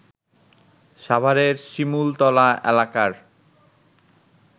সাভারের শিমুলতলা এলাকার